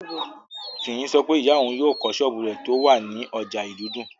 Fiyin sọ pé ìyá òun yóò kọ́ sọ́ọ̀bù rẹ̀ tó wà ní ọjà ìlúdùn